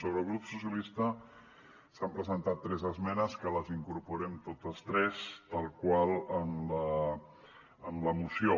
sobre el grup socialistes s’hi han presentat tres esmenes que les incorporem totes tres tal qual en la moció